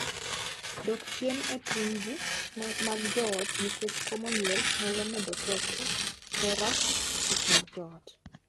Dok chien e tungni mag joot nikech komo nyuol nyalo medo tego hera e kind joot.